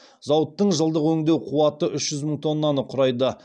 зауыттың жылдық өңдеу қуаты үш жүз мың тоннаны құрайды